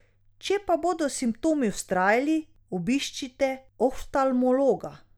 Če pa bodo simptomi vztrajali, obiščite oftalmologa.